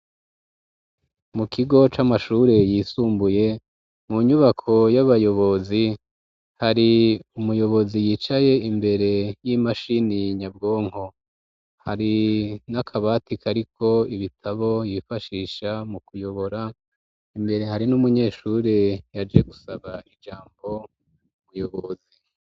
Mu kigo c'amashure yisumbuye mu nyubako y'abayobozi hari umuyobozi yicaye imbere y'imashini nyabwonko hari n'akabati kariko ibitabo yifashisha mu kuyobora imbere hari n'umunyeshure yaje gusaba ijambo bwiyobozi.